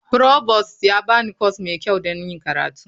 Provost ya ba ni kwas mai kyau don yin karatu.